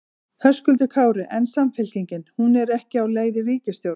Höskuldur Kári: En Samfylkingin, hún er ekki á leið í ríkisstjórn?